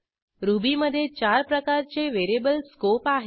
रुबीमधे चार प्रकारचे व्हेरिएबल स्कोप आहेत